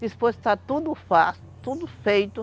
Depois de está tudo feito.